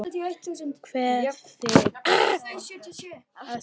Kveð þig að sinni.